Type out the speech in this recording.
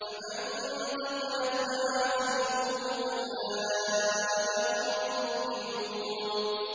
فَمَن ثَقُلَتْ مَوَازِينُهُ فَأُولَٰئِكَ هُمُ الْمُفْلِحُونَ